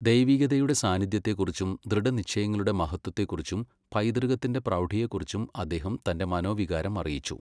ദൈവികതയുടെ സാന്നിധ്യത്തെക്കുറിച്ചും ദൃഢനിശ്ചയങ്ങളുടെ മഹത്വത്തെക്കുറിച്ചും പൈതൃകത്തിന്റെ പ്രൗഡിയേക്കുറിച്ചും അദ്ദേഹം തന്റെ മനോവികാരം അറിയിച്ചു.